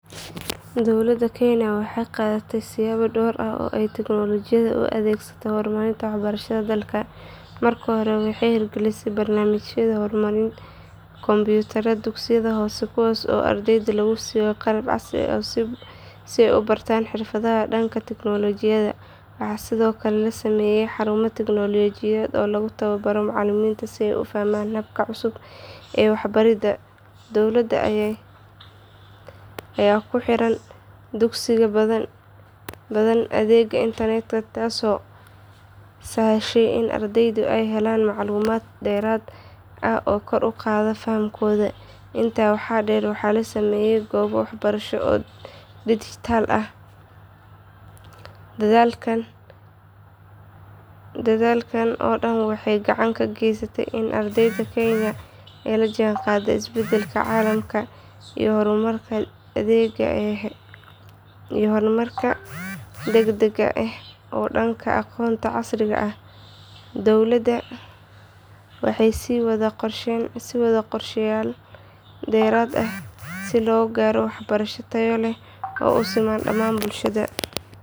Dowladda kenya waxay qaaday siyaabo dhowr ah oo ay tignolajiyada ugu adeegsatay horumarinta waxbarashada dalka. Marka hore waxay hirgelisay barnaamijka kombiyuutarada dugsiyada hoose kuwaas oo ardayda lagu siiyo qalab casri ah si ay u bartaan xirfadaha dhanka tignolajiyada. Waxaa sidoo kale la sameeyay xarumo tignolajiyadeed oo lagu tababaro macallimiinta si ay u fahmaan hababka cusub ee waxbaridda. Dowladda ayaa ku xirtay dugsiyo badan adeega internetka taasoo sahashay in ardayda ay helaan macluumaad dheeraad ah oo kor u qaada fahamkooda. Intaa waxaa dheer waxaa la sameeyay goobo waxbarasho oo dijitaal ah oo ardaydu si bilaash ah uga baran karaan casharro kala duwan. Jaamacadaha dalka ayaa sidoo kale la siiyay qalab iyo xarumo tiknoolajiyadeed si ay uga faa’iidaystaan cilmi baaris iyo waxbarasho heer sare ah. Dadaalladan oo dhan waxay gacan ka geysteen in ardayda kenya ay la jaanqaadaan isbeddelka caalamka iyo horumarka degdegga ah ee dhanka aqoonta casriga ah. Dowladda waxay sii wadaa qorshayaal dheeraad ah si loo gaaro waxbarasho tayo leh oo u siman dhamaan bulshada.